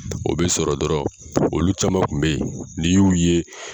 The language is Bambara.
O bɛ sɔrɔ dɔrɔn olu caman kun bɛ ye n'i y'u ye